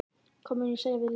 Hvað mun ég segja við liðið?